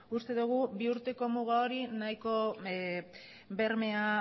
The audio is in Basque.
uste dogu bi urteko muga hori nahiko bermea